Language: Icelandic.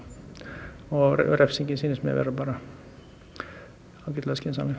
og refsingin sýnist mér vera bara ágætlega skynsamleg